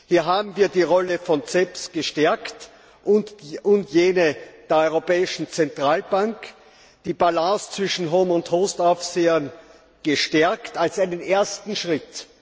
Hier haben wir die Rolle von CEPS gestärkt und jene der europäischen Zentralbank, die Balance zwischen HOME und HOST Aufsehern gestärkt, als einen ersten Schritt.